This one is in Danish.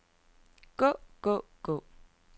gå gå gå